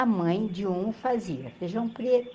A mãe de um fazia feijão preto.